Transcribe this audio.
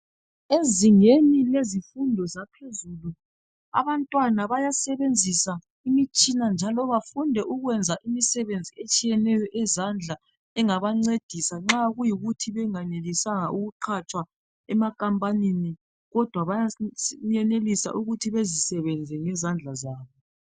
ezingeni lezifundo zaphezulu abantwana bayasebenzisa imitshina njalo bafunde ukwenza imisebenzi etshiyeneyo eyezandla engabancedisa nxa kuyikuthi benganelisanga ukuqatshwa ema khambanini kodwa bayenelisa ukuthi bazisebenze ngezandla zabo